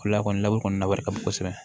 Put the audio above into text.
Lakɔli la kɔni na wari ka bon kosɛbɛ